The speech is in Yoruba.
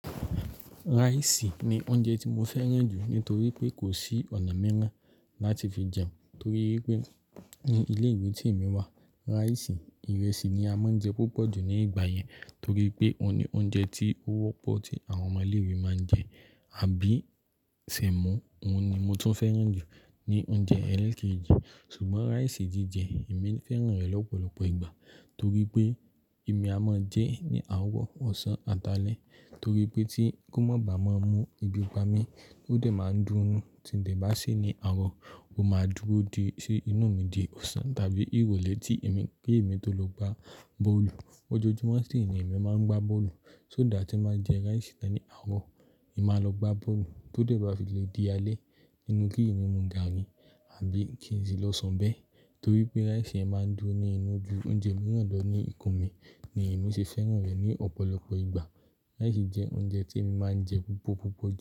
Rice ni oúnjẹ tí mo fẹ́ràn jù nítorí pé kò sí ọ̀nà mìíràn láti fi jẹ́. Torí wipé ní ilé ìwé tí èmi wà, rice, ìrẹsì ni a máa ń jẹ púpọ̀ jù ní ìgbà yẹn. Torí pé òun ni oúnjẹ tí ó wọ́pọ̀ tí àwọn ọmọ ilé ìwé máa ń jẹ àbí sẹ̀mọ́. Òun ni mo tún fẹ́ràn jù ní oúnjẹ eelekeji Ṣùgbọ́n rice jíjẹ èmi fẹ́ràn rẹ̀ lọ́pọ̀lọpọ̀ ìgbà torí pé èmi a máa ń jẹe ní àárọ̀, ọ̀sán àtàlẹ̀. Torí pé tí kó má bàá maa mú ebi pami, ó dẹ̀ máa ń dùn ún. Tí n de bá se ni àárọ̀, ó máa dúró di sí inú mi di ọ̀sán tàbí ìrọ̀lẹ́ tí èmi, kí èmi tó lọ gbá bọ́ọ̀lù. Ọjọ́ojumọ̀ sì ni èmi máa ń gbá bọ́ọ̀lù. Só that tí n báa jẹ rice tàn ní àárọ̀, èmi máa lọ gbá bọ́ọ̀lù. Tó dẹ̀ bá fi lè di alẹ́, nínú kí èmi mú gàárì àbí kin sí lọ sun bẹ̀ torí pé rice yen máa ń dùro ní inú ju oúnjẹ mìíràn lọ ní ikùn mi ni ìnú ṣe fẹ́ràn rẹ̀ ní ọ̀pọ̀lọpọ̀ ìgbà. Rice jẹ oúnjẹ tí èmi máa ń jẹ púpọ̀ púpọ̀ jù.